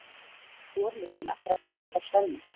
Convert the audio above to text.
Slorlyktin ætlar að kæfa Svenna.